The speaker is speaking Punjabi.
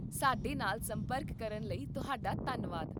ਸਾਡੇ ਨਾਲ ਸੰਪਰਕ ਕਰਨ ਲਈ ਤੁਹਾਡਾ ਧੰਨਵਾਦ